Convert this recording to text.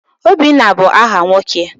Obinna bụ aha nwoke.